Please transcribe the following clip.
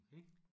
Okay